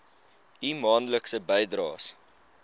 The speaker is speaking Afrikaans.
u maandelikse bydraes